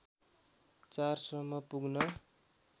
४ सम्म पुग्न